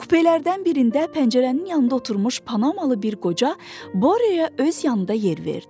Kupelərdən birində pəncərənin yanında oturmuş panamalı bir qoca Boryaya öz yanında yer verdi.